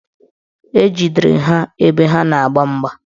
Ejidere ha ebe ha na-agba mgba